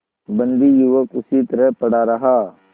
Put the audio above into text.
बंदी युवक उसी तरह पड़ा रहा